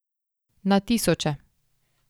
Na tisoče.